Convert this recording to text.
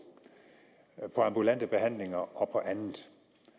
på ambulante behandlinger og på andet